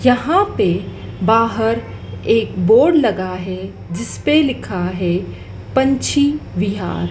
यहां पे बाहर एक बोर्ड लगा है जिसपे लिखा है पंछी विहार।